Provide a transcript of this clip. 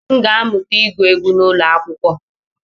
M ga-amụta ịgụ egwu n'ụlọ akwụkwọ